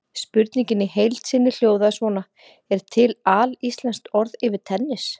Spurningin í heild sinni hljóðaði svona: Er til alíslenskt orð yfir tennis?